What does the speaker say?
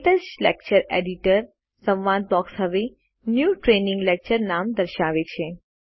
ક્ટચ lecture editor સંવાદ box હવે ન્યૂ ટ્રેનિંગ લેક્ચર નામ દર્શાવે છે